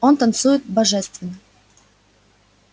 он танцует божественно